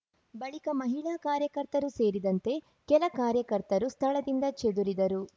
ಬಳಿಕ ಮಹಿಳಾ ಕಾರ್ಯಕರ್ತರು ಸೇರಿದಂತೆ ಕೆಲ ಕಾರ್ಯಕರ್ತರು ಸ್ಥಳದಿಂದ ಚೆದುರಿದರು